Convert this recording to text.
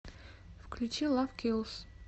включи лав килс